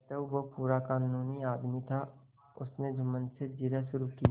अतएव वह पूरा कानूनी आदमी था उसने जुम्मन से जिरह शुरू की